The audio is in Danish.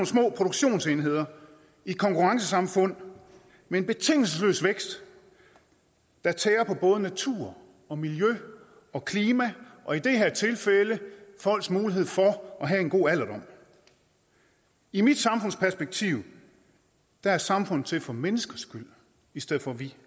små produktionsenheder i et konkurrencesamfund med en betingelsesløs vækst der tærer på både naturen og miljøet og klimaet og i det her tilfælde folks mulighed for at have en god alderdom i mit samfundsperspektiv er samfundet til for menneskets skyld i stedet for at vi